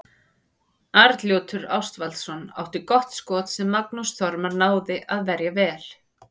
Arnljótur Ástvaldsson átti gott skot sem Magnús Þormar náði að verja vel.